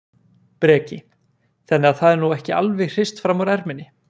Breki: Þannig að það er nú ekki alveg hrist fram úr erminni?